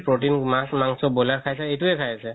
protein মাছ মাংখ boiler খাই আছে এইটোৱে খাই আছে